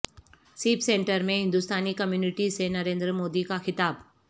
سیپ centre میں ہندستانی community سے نریندر مودی کا خطاب